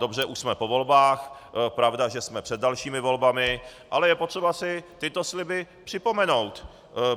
Dobře, už jsme po volbách, pravda, že jsme před dalšími volbami, ale je potřeba si tyto sliby připomenout.